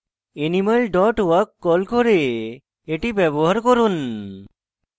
animal dot walk কল করে এটি ব্যবহার করুন